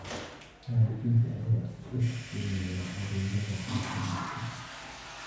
Waalidiinta ayaa u iftiiminaya adeegyada caafimaadka.